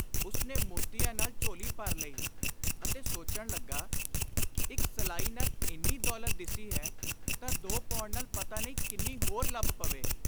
ਉਸਨੇ ਮੋਤੀਆਂ ਨਾਲ ਝੋਲੀ ਭਰ ਲਈ ਅਤੇ ਸੋਚਣ ਲੱਗਾ, “ਇਕ ਸਲਾਈ ਨਾਲ ਇੰਨੀ ਦੌਲਤ ਦਿਸੀ ਹੈ ਤਾਂ ਦੋ ਪਾਉਣ ਨਾਲ ਪਤਾ ਨਹੀਂ ਕਿੰਨੀ ਹੋਰ ਲੱਭ ਪਵੇ।